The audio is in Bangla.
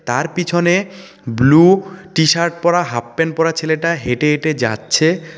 তার পিছনে ব্লু টি-শার্ট পরা হাফ প্যান্ট পরা ছেলেটা হেঁটে হেঁটে যাচ্ছে।